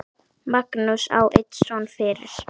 Magnús á einn son fyrir.